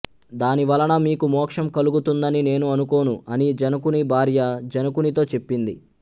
దాని వలన మీకు మోక్షం కలుగుతుందని నేను అనుకోను అని జనకుని భార్య జనకునితో చెప్పింది